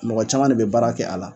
Mɔgɔ caman de bɛ baara kɛ a la.